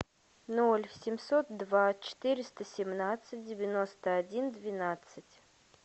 ноль семьсот два четыреста семнадцать девяносто один двенадцать